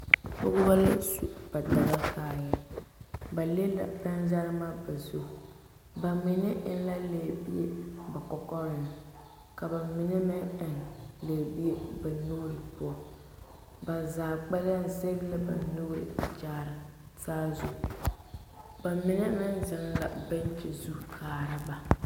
Pɔgebɔ la su ba Dagakparre, ba le la pɛnzɛremɛ ba zu, bamine eŋ la bɛɛbie ba kɔkɔreŋ ka bamine meŋ eŋ lɛɛbie ba nuuri poɔ, ba zaa kpɛlɛm zɛge la ba nuuri kyaare saazu, bamine meŋ zeŋ la bɛŋkyi zu kaara ba.